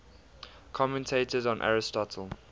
commentators on aristotle